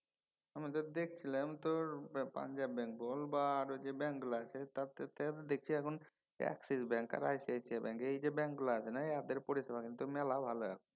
আমি তো দেখছিলাম তোর পাঞ্জাব ব্যাঙ্ক বল বা আর যে ব্যাংকগুলা আছে তার তে আরও দেখছি এখন Axis ব্যাঙ্ক আর ICICI ব্যাঙ্ক। এই যে ব্যাংকগুলা আছে না ইয়াদের পরিষেবা কিন্তু মেলা ভালো এখন।